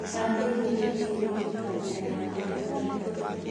Kampaini nĩ igwĩkĩka mĩena ngũrani ya bũrũri